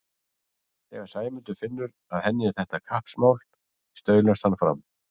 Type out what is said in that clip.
Þegar Sæmundur finnur að henni er þetta kappsmál staulast hann fram.